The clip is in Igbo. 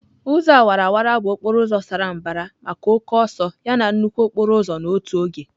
Ụzọ awara awara bụ okporo ụzọ sara mbara maka oke ọsọ yana nnukwu okporo ụzọ n'otu oge.